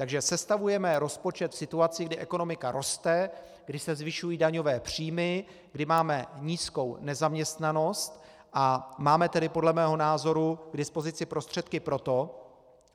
Takže sestavujeme rozpočet v situaci, kdy ekonomika roste, kdy se zvyšují daňové příjmy, kdy máme nízkou nezaměstnanost, a máme tedy podle mého názoru k dispozici prostředky pro to,